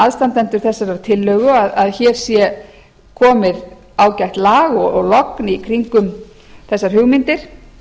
aðstandendur þessarar tillögu að hér sé komið ágætt lag og logn í kringum þessar hugmyndir